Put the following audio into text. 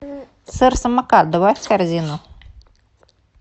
сыр самокат добавь в корзину